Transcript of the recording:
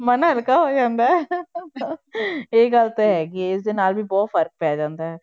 ਮਨ ਹਲਕਾ ਹੋ ਜਾਂਦਾ ਹੈ ਇਹ ਗੱਲ ਤਾਂ ਹੈਗੀ ਹੈ ਇਸਦੇ ਨਾਲ ਵੀ ਬਹੁਤ ਫ਼ਰਕ ਪੈ ਜਾਂਦਾ ਹੈ।